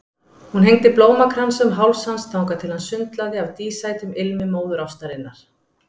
Hún hengdi blómakransa um háls hans þangað til hann sundlaði af dísætum ilmi móðurástarinnar.